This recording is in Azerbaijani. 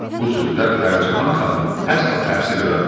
Bu sözlər Pərcahan xanıma əsla təsir eləmədi.